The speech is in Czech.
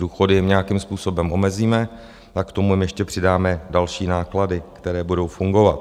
Důchody jim nějakým způsobem omezíme a k tomu jim ještě přidáme další náklady, které budou fungovat.